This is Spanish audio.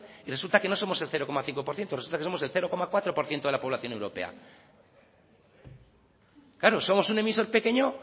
y resulta que no somos el cero coma cinco por ciento resulta que somos el cero coma cuatro por ciento de la población europea claro somos un emisor pequeño